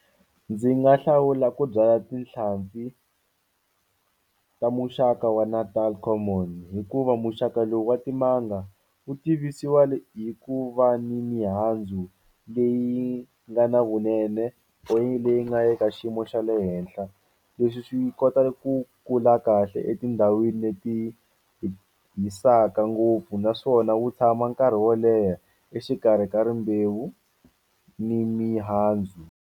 Ndzi nga hlawula ku byala tinhlampfi ta muxaka wa natal common hikuva muxaka lowu wa timanga wu tivisiwa hi ku va ni mihandzu leyi nga na vunene leyi nga eka xiyimo xa le henhla leswi swi kota ku kula kahle etindhawini leti hisaka ngopfu naswona wu tshama nkarhi wo leha exikarhi ka rimbewu ni mihandzu.